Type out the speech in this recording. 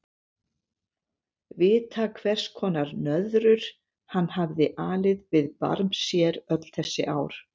Vita hvers konar nöðrur hann hafði alið við barm sér öll þessi ár.